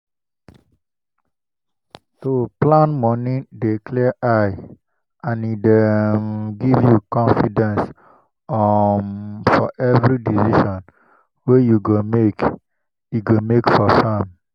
to plan moni dey clear eye and e dey um give you confidence um for every decision wey you go make you go make for farm.